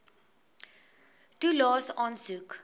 toelaes aansoek